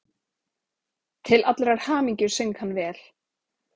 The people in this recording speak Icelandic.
Til allrar hamingju söng hann vel!